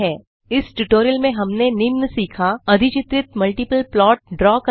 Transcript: इस ट्यूटोरियल में हमने निम्न सीखा अधिचित्रित मल्टिपल प्लॉट ड्रॉ करना